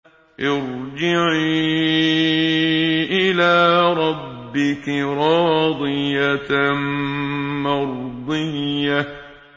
ارْجِعِي إِلَىٰ رَبِّكِ رَاضِيَةً مَّرْضِيَّةً